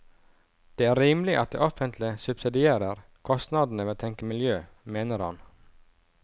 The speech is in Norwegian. Det er rimelig at det offentlige subsidierer kostnadene ved å tenke miljø, mener han.